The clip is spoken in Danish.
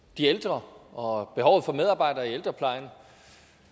de ældre og om behovet for medarbejdere i ældreplejen